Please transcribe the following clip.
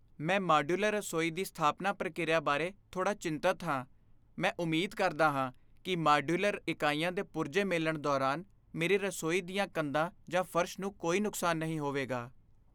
ਮੈਂ ਮਾਡਯੂਲਰ ਰਸੋਈ ਦੀ ਸਥਾਪਨਾ ਪ੍ਰਕਿਰਿਆ ਬਾਰੇ ਥੋੜ੍ਹਾ ਚਿੰਤਤ ਹਾਂ। ਮੈਂ ਉਮੀਦ ਕਰਦਾ ਹਾਂ ਕਿ ਮਾਡਯੂਲਰ ਇਕਾਈਆਂ ਦੇ ਪੁਰਜੇ ਮੇਲਣ ਦੌਰਾਨ ਮੇਰੀ ਰਸੋਈ ਦੀਆਂ ਕੰਧਾਂ ਜਾਂ ਫਰਸ਼ ਨੂੰ ਕੋਈ ਨੁਕਸਾਨ ਨਹੀਂ ਹੋਵੇਗਾ।